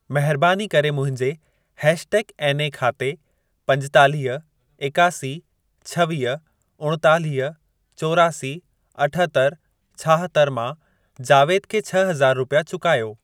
महरबानी करे मुंहिंजे हैश टैग एनए खाते पंजेतालीह, एकासी, छवीह, उणेतालीह, चोरासी, अठहतरि, छाहतरि मां जावेद खे छह हज़ार रुपिया चुकायो।